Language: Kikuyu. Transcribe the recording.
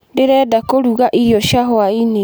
Ndĩrenda kũruga irio cia hwaĩ-inĩ.